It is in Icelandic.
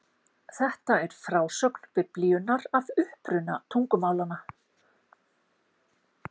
Þetta er frásögn Biblíunnar af uppruna tungumálanna.